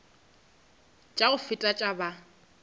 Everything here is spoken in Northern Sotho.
tša go feta tša ba